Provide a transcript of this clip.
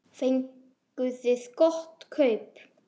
Fenguð þið gott kaup?